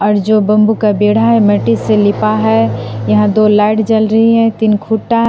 जो बंबू का बेड़ा है मिट्टी से लिपा है यहां दो लाइट जल रही है तीन खूंटा--